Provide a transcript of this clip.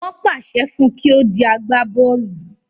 Wọ́n pàṣẹ fún un kí ó di agbábọ́ọ̀lù